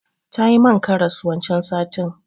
Tayi man karas wancan satin.